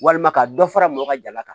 Walima ka dɔ fara mɔgɔ ka jala kan